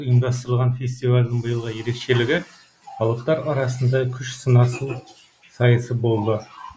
рет ұйымдастырылған фестивальдің биылғы ерекшелігі алыптар арасында күш сынасу сайысы болды